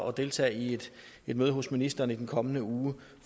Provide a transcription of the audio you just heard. at deltage i et møde hos ministeren i den kommende uge